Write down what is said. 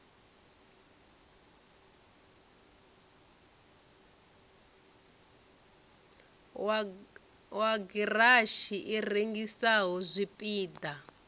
wa garatshi i rengisaho zwipida